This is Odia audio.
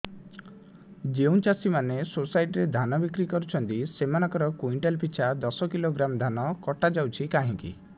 ଯେଉଁ ଚାଷୀ ମାନେ ସୋସାଇଟି ରେ ଧାନ ବିକ୍ରି କରୁଛନ୍ତି ସେମାନଙ୍କର କୁଇଣ୍ଟାଲ ପିଛା ଦଶ କିଲୋଗ୍ରାମ ଧାନ କଟା ଯାଉଛି କାହିଁକି